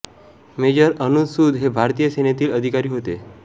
major Anuj Sud हे भारतीय सेनेतील अधिकारी होते